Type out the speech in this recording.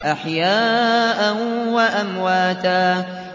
أَحْيَاءً وَأَمْوَاتًا